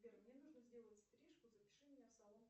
сбер мне нужно сделать стрижку запиши меня в салон